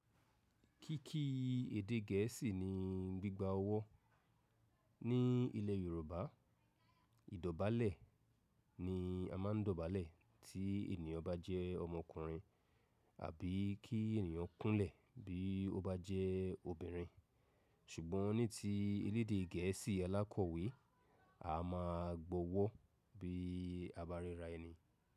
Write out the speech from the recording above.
Kíkí èdè gẹ̀ẹ́sì ni gbígba ọwọ́. Ní ilẹ̀ Yorùbá, ìdọ̀bálẹ̀ ni a máa ń dọ̀bálẹ̀ tí ènìyàn bá jẹ́ ọmọkùnrin àbí kí ènìyàn kúnlẹ̀ bí ó bá jẹ́ obìnrin. Ṣùgbọ́n ní ti ilẹ̀ èdè gẹ̀ẹ́sì alákọ̀wé, a máa gbọ́wọ́ bí a bá rẹra ẹni.